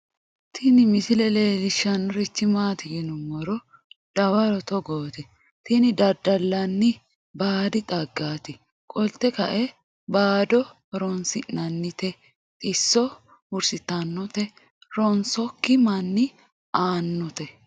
Tini misile leellishshannorichi maati yinummoro dawaro togooti tini daddalanni baadi xaggaati qolte kae baado horoonsi'nannite xisso hurisitannote ronsokki manni aannote